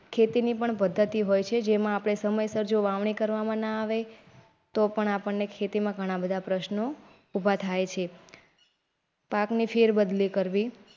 ખેતી ની પણ પધ્ધતિ હોય છે જેમાં આપણે સમયસર જો વાવણી કરવામાં ના આવે તો પણ આપણને ખેતીમાં ઘણા બધા પ્રશ્નો ઉભા થાય પાકની ફેરબદલી કરવી.